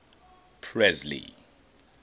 presley